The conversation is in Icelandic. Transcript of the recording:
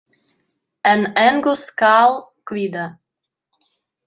En engu skal kvíða.